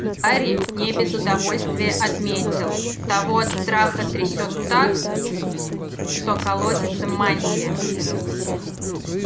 гарри не без удовольствия отметил того от страха трясёт так что колотится мантия